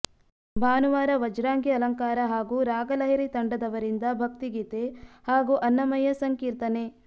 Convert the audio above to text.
ಭಾನುವಾರ ವಜ್ರಾಂಗಿ ಅಲಂಕಾರ ಹಾಗೂ ರಾಗಲಹರಿ ತಂಡದವರಿಂದ ಭಕ್ತಿಗೀತೆ ಹಾಗೂ ಅನ್ನಮಯ್ಯ ಸಂಕೀರ್ತನೆ